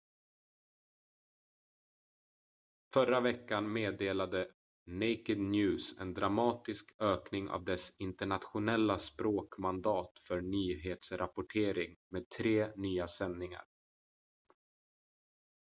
förra veckan meddelade naked news en dramatisk ökning av dess internationella språk-mandat för nyhetsrapportering med tre nya sändningar